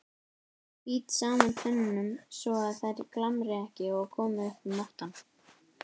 Bít saman tönnunum svoað þær glamri ekki og komi upp um óttann.